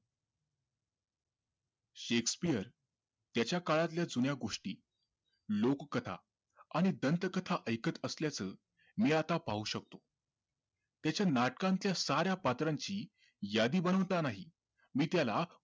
Shakespeare त्याच्या काळातल्या जुन्या गोष्टी लोककथा आणि दंतकथा ऐकत असल्याचं मी आता पाहू शकतो त्याच्या नाटकांच्या साऱ्या पात्रांची यादी बनवतानाही मी त्याला